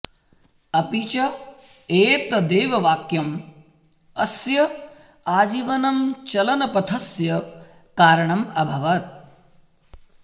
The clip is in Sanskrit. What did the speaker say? अपि च एतदेव वाक्यम् अस्य आजीवनं चलनपथस्य कारणम् अभवत्